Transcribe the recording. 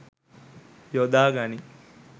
යොදා ගනියි.